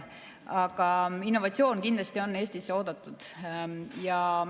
Aga innovatsioon on Eestisse kindlasti oodatud.